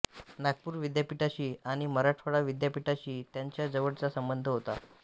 नागपूर विद्यापीठाशी आणि मराठवाडा विद्यापीठाशी त्यांचा जवळचा संबंध होता